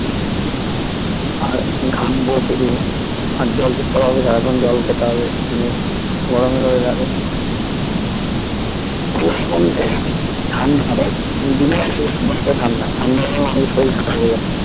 আর ঘামবো শুধু আর জল তেষ্টা পাবে সারাক্ষন জল খেতে হবে নিয়ে গরমের weather এ ঠান্ডা দেখ দিনের বেলা অনেকটা ঠান্ডা ঠান্ডা গরমে শরীর খারাপ হয়ে যাচ্ছে